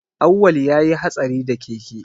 Awwal ya yi hatsari da keke